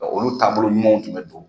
Olu taabolo ɲumanw tun bɛ